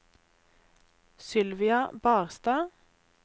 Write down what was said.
Sylvia Barstad